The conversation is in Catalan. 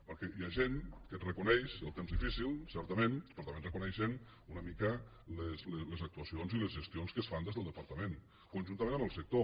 perquè hi ha gent que et reconeix el temps difícil certament però també et reconeixen una mica les actuacions i les gestions que es fan des del departament conjuntament amb el sector